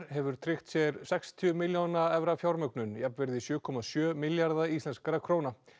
hefur tryggt sér sextíu milljóna evra fjármögnun jafnvirði sjö komma sjö milljarða íslenskra króna